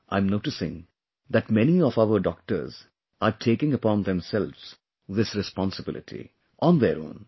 I am noticing that many of our doctors are taking upon themselves this responsibility, on their own